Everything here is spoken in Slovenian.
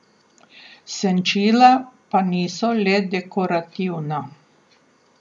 Senčila pa niso le dekorativna.